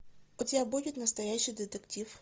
у тебя будет настоящий детектив